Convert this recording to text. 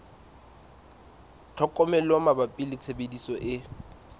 tlhokomelo mabapi le tshebediso e